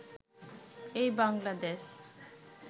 এই বাংলাদেশ